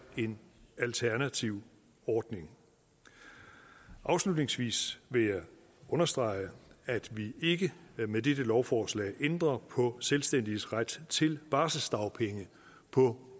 en alternativ ordning afslutningsvis vil jeg understrege at vi ikke med dette lovforslag ændrer på selvstændiges ret til barselsdagpenge på